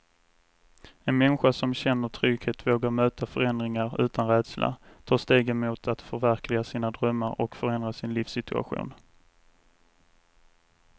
En människa som känner trygghet vågar möta förändringar utan rädsla, ta stegen mot att förverkliga sina drömmar och förändra sin livssituation.